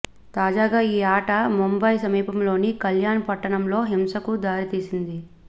తాజాగా ఈ ఆట ముంబయి సమీపంలోని కల్యాణ్ పట్టణంలో హింసకు దారి తీసింది